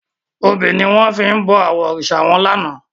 Óbi niwòn fi bò àwòn órisá wán làná